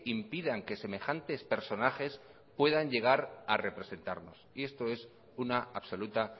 impidan que semejantes personajes puedan llegar a representarnos y esto es una absoluta